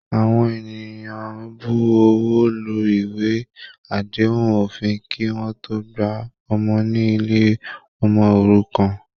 Àwọn ènìyàn ń bu ọwọ́ lu ìwé àdéhùn òfin kí wọ́n tó gba ọmọ ní ilé ọmọ òrukàn